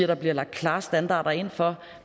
der bliver lagt klare standarder ind for